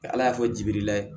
Ala y'a fɔ jibirila ye